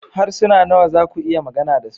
Harsuna nawa za ku iya magana da su?